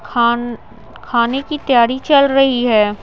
खान खाने की तैयारी चल रही है।